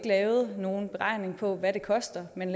lavet nogen beregning af hvad det koster men